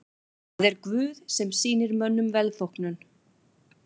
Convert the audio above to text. Það er Guð sem sýnir mönnum velþóknun.